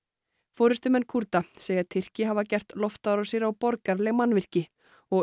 forystumenn Kúrda segja Tyrki hafa gert loftárásir á borgaraleg mannvirki og